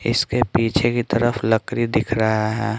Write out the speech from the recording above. इसके पीछे की तरफ लकड़ी दिख रहा है।